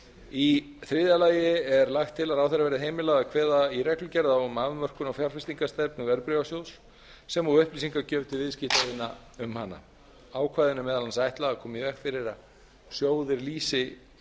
í þriðja lagi er lagt til að ráðherra verði heimilað að kveða í reglugerð á um afmörkun á fjárfestingarstefnu verðbréfasjóðs sem og upplýsingagjöf til viðskiptavina um hana ákvæðinu er meðal annars ætlað að koma í veg fyrir að sjóðir lýsi